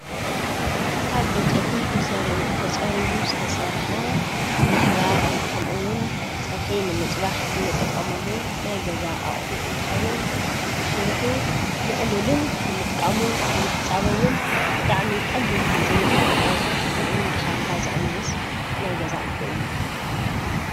ካብ ዕንጨቲ ተጸሪቡ ዝተሠርሐ ንምሕባር ከምኡውን ጸብሒ ንምጽባሕ እንጠቀመሉ ናይ ገዛ ኣቕሑ እንተኸውን ንሱሩኁ ምቕሉልን ንምጥቃሙ ንምሕጻቡውን ብጣዕሚ ቐሊል ጊዜ ዘቕጥብ ከምኡን ድኻምካ ዘቕንስ ናይ ገዛ ኣቕሑ እዩ።